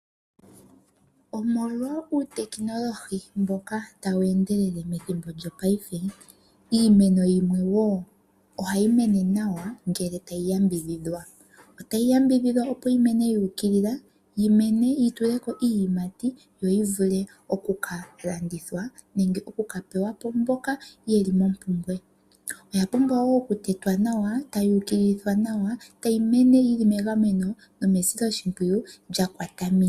Omolwa uutekinolohi mboka tawu endelele methimbo lyopaife, iimeno yimwe wo ohayi mene nawa ngele tayi yambidhidhwa. Otayi yambidhidhwa opo yi mene yu ukilila, yi mene yi tule ko iiyimati yo yi vule oku ka landithwa nenge oku ka pewa po mboka ye li mompumbwe. Oya pumbwa wo okutetwa nawa, tayi ukililithwa nawa, tayi mene yi li megameno nomesiloshimpwiyu lya kwata miiti.